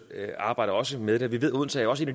arbejder også med det vi ved at odense også